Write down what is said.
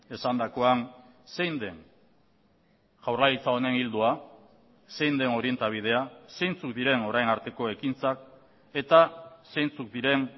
esandakoan zein den jaurlaritza honen ildoa zein den orientabidea zeintzuk diren orain arteko ekintzak eta zeintzuk diren